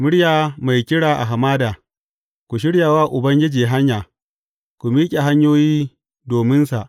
Muryar mai kira a hamada, Ku shirya wa Ubangiji hanya, ku miƙe hanyoyi dominsa.